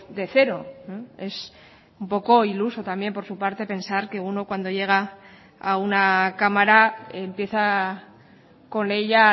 de cero es un poco iluso también por su parte pensar que uno cuando llega a una cámara empieza con ella